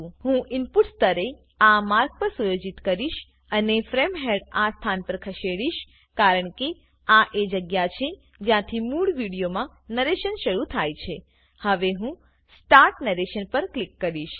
હું ઈનપુટ સ્તરને આ માર્ગ પર સુયોજિત કરીશ અને ફ્રેમ હેડ આ સ્થાન પર ખસેડીશ કારણકે આ એ જગ્યા છે જ્યાંથી મૂળ વિડીઓમા નરેશન શરુ થાય છેહવે હું સ્ટાર્ટ નેરેશન પર ક્લિક કરીશ